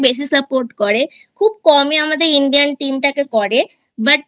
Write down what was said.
বেশি Support করে খুব কমই আমাদের Indian Team টাকে করে But